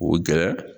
O gɛrɛ